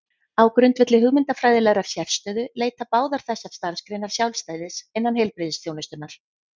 Á grundvelli hugmyndafræðilegrar sérstöðu leita báðar þessar starfsgreinar sjálfstæðis innan heilbrigðisþjónustunnar.